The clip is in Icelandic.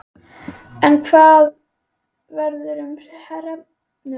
En hvað verður um hrefnuna?